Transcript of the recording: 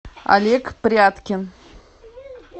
олег пряткин